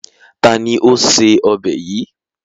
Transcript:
Ta ni ó se ọbẹ̀ yìí?